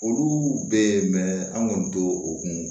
Olu bɛ ye an kɔni t'o o kun